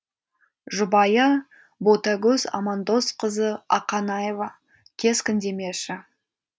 жұбайы ботагөз амандосқызы ақанаева кескіндемеші